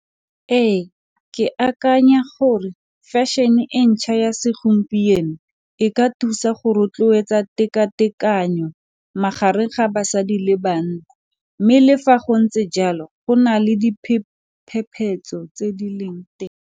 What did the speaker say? Ee ke akanya gore fashion-e ntšhwa ya segompieno e ka thusa go rotloetsa tekatekano magareng ga basadi le banna mme le fa go ntse jalo go na le diphephetso tse di leng teng.